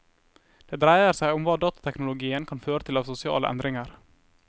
Det dreier seg om hva datateknologien kan føre til av sosiale endringer.